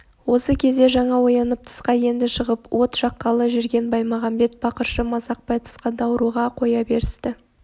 осы кезде жаңа оянып тысқа енді шығып от жаққалы жүрген баймағамбет бақыршы масақбай тысқа даурыға қоя берісті